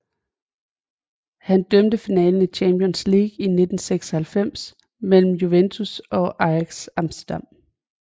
Han dømte finalen i Champions League i 1996 mellem Juventus og Ajax Amsterdam